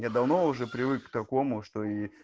я давно уже привык к такому что